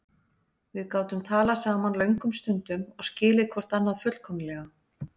Við gátum talað saman löngum stundum og skilið hvort annað fullkomlega.